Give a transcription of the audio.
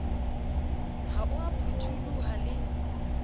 ha o a phuthuloha le